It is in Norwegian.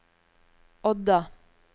Odda